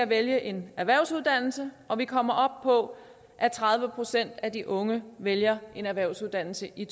vælge en erhvervsuddannelse og vi kommer op på at tredive procent af de unge vælger en erhvervsuddannelse i